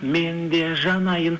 мен де жанайын